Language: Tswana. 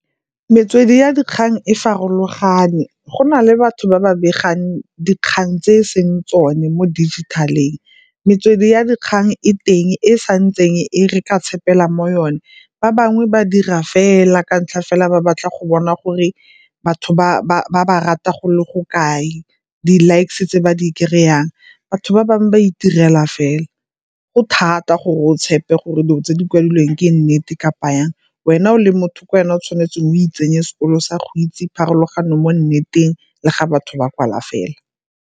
Metswedi ya dikgang e farologane, go na le batho ba ba begang dikgang tse e seng tsone mo dijithaleng. Metswedi ya dikgang e teng e sa ntseng e re ka tshepegela mo yone, ba bangwe ba dira fela ka ntlha fela ba batla go bona gore batho ba ba rata go le go kae di-likes-e tse ba di kry-ang. Batho ba bangwe ba itirela fela, go thata gore o tshepe gore dilo tse di kwadilweng ke nnete kapa yang. Wena o le motho ke wena o tshwanetseng o itseye sekolo sa go itse pharologano mo nneteng le ga batho ba kwala fela.